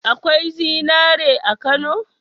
Akwai zinari a Kano?